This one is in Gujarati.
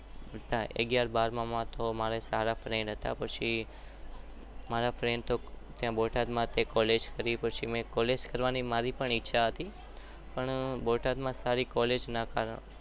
અગિયાર બાર મામા મારે સારા ફર્દ હતા.